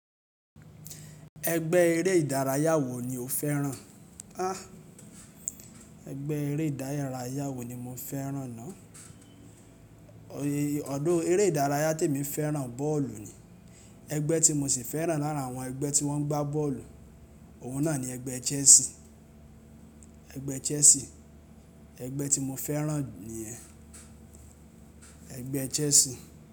Ẹgbẹ́ eré ìdárayá wo ni o fẹ́ràn? À, ẹgbẹ́ eré ìdárayá wo ni mo fẹ́ràn ná. Although eré ìdárayá tí èmi fẹ́ràn bọ́ọ̀lù ni. Ẹgbẹ́ tí mo sì fẹ́ràn láàrín àwọn ẹgbẹ́ tí wọ́n ń gbá bọ́ọ̀lù, òun náà ni ẹgbẹ́ Chelsea. Ẹgbẹ́ Chelsea, ẹgbẹ́ tí mo fẹ́ràn jù nìyẹn. Ẹgbẹ́ Chelsea.